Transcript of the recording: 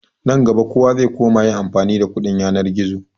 Nan gaba kowa zai koma yin amfani da kuɗin yanar gizo.